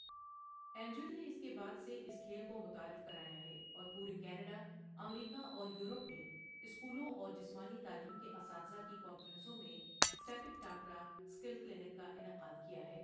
Angel نے اس کے بعد سے اس کھیل کو متعارف کرایا ہے اور پورے کینیڈا، امریکہ اور یورپ میں سکولوں اور جسمانی تعلیم کے اساتذہ کی کانفرنسوں میں سیپک ٹاکرا سکل کلینک کا انعقاد کیا ہے۔